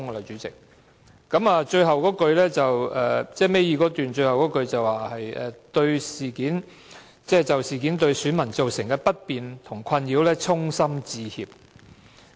主席，倒數第二段最後一句是："我們就事件對選民造成的不便和困擾衷心致歉。